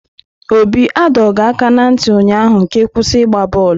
Obi a dọọ gị aka na ntị ụnyaahụ ka ịkwụsị ị gbaa bọọlụ!